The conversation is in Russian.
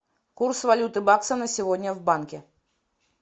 курс валюты бакса на сегодня в банке